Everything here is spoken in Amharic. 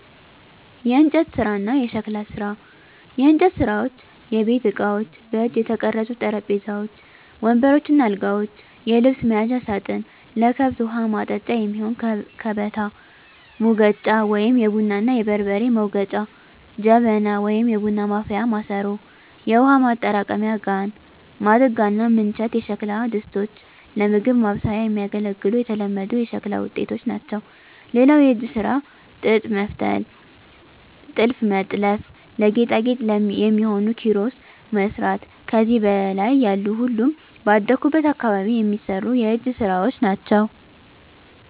**የእንጨት ስራ እና የሸክላ ስራ፦ *የእንጨት ስራዎች * የቤት እቃዎች: በእጅ የተቀረጹ ጠረጴዛዎች፣ ወንበሮች እና አልጋዎች፣ የልብስ መያዣ ሳጥን፣ ለከብት ውሀ ማጠጫ የሚሆን ከበታ፣ ሙገጫ(የቡና እና የበርበሬ መውገጫ) ጀበና (የቡና ማፍያ ማሰሮ)፣ የውሃ ማጠራቀሚያ ጋን፣ ማድጋ እና ምንቸት የሸክላ ድስቶች ለምግብ ማብሰያ የሚያገለግሉ የተለመዱ የሸክላ ውጤቶች ናቸው። *ሌላው የእጅ ስራ ጥጥ መፍተል *ጥልፍ መጥለፍ *ለጌጣጌጥ የሚሆኑ ኪሮስ መስራት ከዚህ በላይ ያሉ ሁሉም ባደኩበት አካባቢ የሚሰሩ የእጅ ስራወች ናቸው።